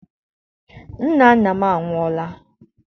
Nna nna m anwụọla.